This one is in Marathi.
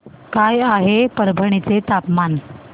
काय आहे परभणी चे तापमान